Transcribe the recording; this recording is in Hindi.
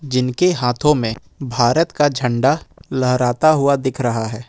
जिनके हाथों में भारत का झंडा लहराता हुआ दिख रहा है।